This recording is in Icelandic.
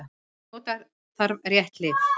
Og nota þarf rétt lyf.